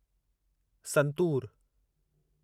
santoor